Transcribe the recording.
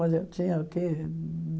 Mas eu tinha, o quê?